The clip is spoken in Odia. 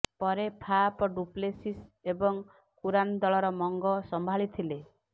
ପରେ ଫାଫ୍ ଡୁପ୍ଲେସିସ୍ ଏବଂ କୁରାନ୍ ଦଳର ମଙ୍ଗ ସମ୍ଭାଳିଥିଲେ